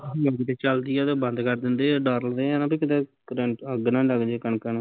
ਜੇ ਕਿਤੇ ਚਲਦੀ ਆ ਤੇ ਬੰਦ ਕਰ ਦਿੰਦੇ ਆ ਡਰਦੇ ਆ ਨਾ ਵੀ ਕਿਤੇ ਕਰੰਟ ਅੱਗ ਨਾ ਲੱਗਜੇ ਕਣਕਾਂ ਨੂੰ